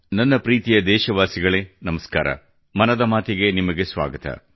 ನನ್ನ ಪ್ರೀತಿಯ ದೇಶವಾಸಿಗಳೇ ನಮಸ್ಕಾರ ಮನದ ಮಾತಿ ಗೆ ನಿಮಗೆ ಸ್ವಾಗತ